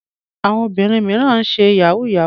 Àwọn obìnrin mìíràn náà ń ṣe yahoo yahoo.